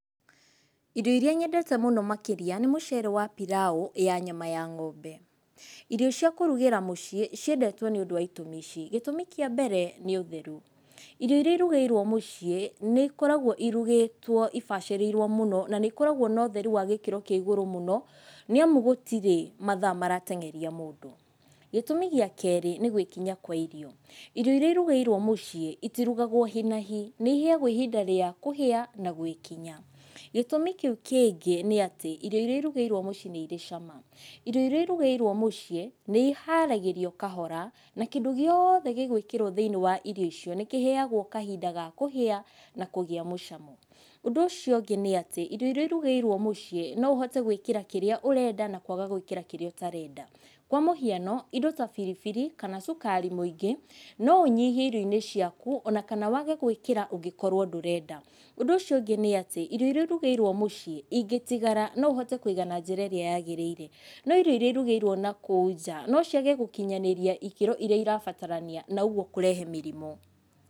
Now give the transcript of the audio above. Irio iria nyendete mũno makĩria nĩ mũcere wa pilau ya nyama ya ng'ombe. Irio cia kũrugĩra muciĩ ciendetwo nĩ ũndũ wa itũmi ici: Gĩtũmi kia mbere nĩ ũtheru. Irio iria irugĩirwo mũciĩ, nĩ ikoragwo irugĩtwo na ibacĩrĩirwo mũno na nĩ ĩkoragwo na ũtheru wa gĩkĩro kĩa ĩgũrũ mũno, nĩ amu gũtĩrĩ mathaa maratengeria mũndũ. Gĩtũmi gĩa kerĩ nĩ gwĩkinya kwa irio. Irio iria irũgĩirwo mũciĩ, itirugagwo hi na hi. Nĩ ĩheagwo ihinda rĩa kũhia na gwĩkinya. Gĩtũmi kĩu kĩngĩ ni atĩ irio iria irugeirwo muciĩ nĩ irĩ cama. Irio iria irugeirwo muciĩ nĩ iharagĩrio kahora, na kĩndu gĩothe gĩgwĩkirwo thĩiniĩ wa irio icio nĩ kĩheagwo kahinda ga kũhĩa na kũgĩa mũcamo. Ũndũ ũcio ũngĩ nĩ atĩ, irio iria irugĩirwo muciĩ no ũhote gwĩkĩra kĩrĩa ũrenda na kwaga gwĩkĩra kĩrĩa ũtarenda. Kwa mũhiano, indo ta biribiri kana cukari mũingĩ no ũnyihie irioinĩ ciaku ona kana wage gwĩkira ũngĩkorwo ndũrenda. Ũndu ũcio ũngi nĩ ati, irio iria irugeirwo muciĩ ingĩtigara no ũhote kũiga na njĩra ĩrĩa yagĩrĩire. No irio iria irugeirwo na kũu nja no ciage Gũkinyanĩria ikero iria irabatarania na ũguo cirehe mĩrimũ.